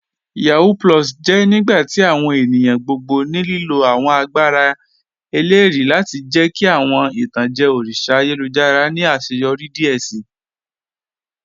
Yahoo + jẹ nigbati awọn ènìyàn gbogbo ní lílo awọn àgbàrá èlérì lati jẹ̀ kí awọn itanjẹ̀ òrìṣà àyélujára ni aṣẹ́yọrí díẹ̀ sí.